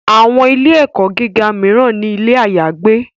Àwọn ilé - ẹ̀kọ́ gíga míràn ní ilé àyágbé